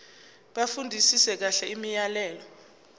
bafundisise kahle imiyalelo